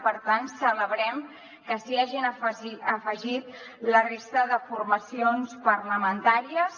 per tant celebrem que s’hi hagin afegit la resta de formacions parlamentàries